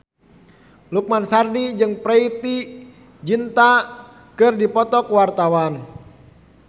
Lukman Sardi jeung Preity Zinta keur dipoto ku wartawan